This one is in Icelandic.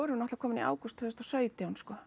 náttúrulega komin í ágúst tvö þúsund og sautján sko